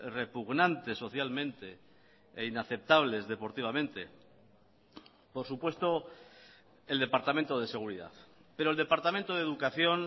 repugnantes socialmente e inaceptables deportivamente por supuesto el departamento de seguridad pero el departamento de educación